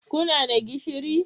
Kuna da gishiri?